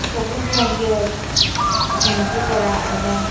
সবুজ রঙ্গের গেঞ্জি পরা এবং--